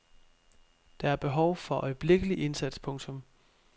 Der er behov for øjeblikkelig indsats. punktum